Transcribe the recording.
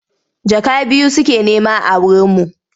Jaka biyu suke nema a wurinmu.